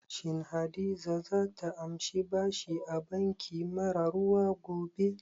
Shin Hadiza za ta amshi bashi a banki mara ruwa gobe?